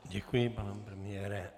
Děkuji, pane premiére.